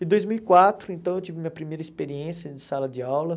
Em dois mil e quatro, então, eu tive minha primeira experiência de sala de aula.